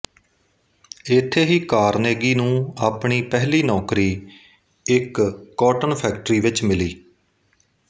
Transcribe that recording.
ਇੱਥੇ ਹੀ ਕਾਰਨੇਗੀ ਨੂੰ ਆਪਣੀ ਪਹਿਲੀ ਨੌਕਰੀ ਇੱਕ ਕੌਟਨ ਫੈਕਟਰੀ ਵਿੱਚ ਮਿਲੀ